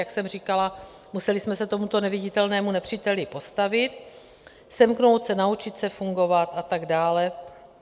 Jak jsem říkala, museli jsme se tomuto neviditelnému nepříteli postavit, semknout se, naučit se fungovat a tak dále.